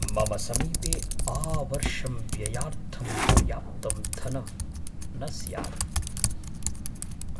मम समीपे आवर्षं व्ययार्थं पर्याप्तं धनं न स्यात्।